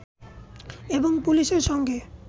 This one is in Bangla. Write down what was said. এবং পুলিশের সঙ্গে